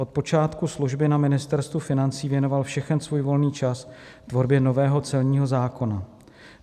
Od počátku služby na Ministerstvu financí věnoval všechen svůj volný čas tvorbě nového celního zákona.